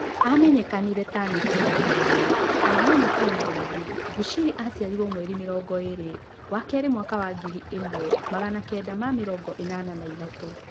Amenyekanire ta Nabii-1 kana mũnabii mũrĩithi, Bushiri aciarirwo mweri mĩrongo ĩĩrĩ wakerĩ mwaka wa ngiri ĩmwe, magana kenda ma mĩrongo ĩnana na ithatũ